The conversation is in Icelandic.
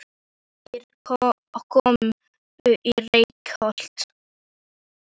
Þeir komu í Reykholt um það er skyggja tók.